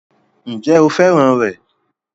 Ǹjẹ́ o fẹ́ràn rẹ̀?